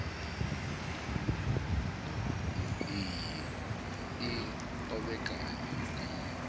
iyi i o vhekanywa nga